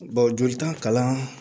jolita kalan